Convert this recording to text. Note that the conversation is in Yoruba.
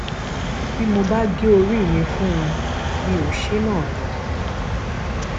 bí mo bá gé orí mi fún un mi ò ṣe é náà ni